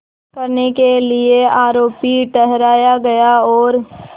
करने के लिए आरोपी ठहराया गया और